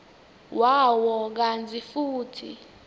wawo kantsi futsi